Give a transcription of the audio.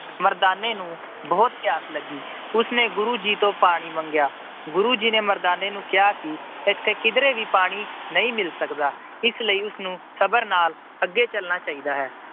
ਮਰਦਾਨੇ ਨੂੰ ਬਹੁਤ ਪਿਆਸ ਲੱਗੀ। ਉਸਨੇ ਗੁਰੂ ਜੀ ਤੋਂ ਪਾਣੀ ਮੰਗਿਆ। ਗੁਰੂ ਜੀ ਨੇ ਮਰਦਾਨੇ ਨੂੰ ਕਿਹਾ ਕਿ ਇੱਥੇ ਕਿਧਰੇ ਵੀ ਪਾਣੀ ਨਹੀਂ ਮਿਲ ਸਕਦਾ। ਇਸ ਲਈ ਉਸਨੂੰ ਸਬਰ ਨਾਲ ਅੱਗੇ ਚਲਣਾ ਚਾਹੀਦਾ ਹੈ।